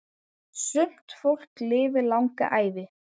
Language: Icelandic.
Sumt fólk lifir langa ævi.